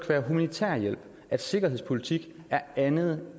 være humanitær hjælp at sikkerhedspolitik er andet